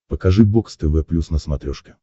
покажи бокс тв плюс на смотрешке